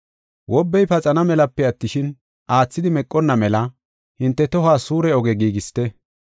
Wobbey paxana melape attishin, aathidi meqonna mela hinte tohuwas suure oge giigisite.